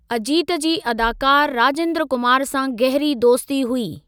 अजीत जी अदाकारु राजेंद्र कुमार सां गहरी दोस्ती हुई।